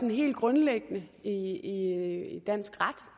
helt grundlæggende i i dansk ret